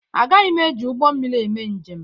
Agaghị m eji ụgbọ mmiri eme njem.